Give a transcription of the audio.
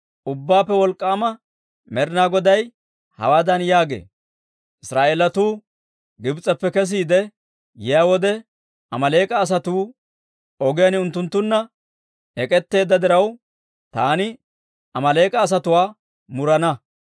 Ubbaappe Wolk'k'aama Med'inaa Goday hawaadan yaagee; ‹Israa'eelatuu Gibs'eppe kesiide yiyaa wode Amaaleek'a asatuu ogiyaan unttunttunna ek'etteedda diraw, taani Amaaleek'a asatuwaa murana.